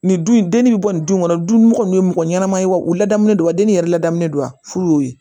Nin dun dennin bɛ bɔ nin du kɔnɔ du mɔgɔ kɔni ye mɔgɔ ɲɛnama ye wa u ladamulen don wa den yɛrɛ ladamun don wa furu y'o ye